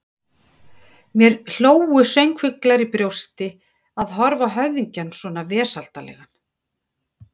Mér hlógu söngfuglar í brjósti, að horfa á höfðingjann svona vesældarlegan.